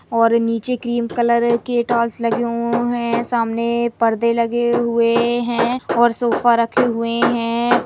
और नीचे cream colour के टाइल्स लगे हुए है सामने पर्दे लगे हुए हैऔर सोफ़ा रखे हुए हैं।